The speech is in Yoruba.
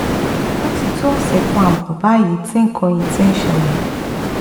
ó ti tó ọ̀sẹ̀ kan ààbọ̀ báyìí tí nǹkan yìí ti ń ṣẹlẹ̀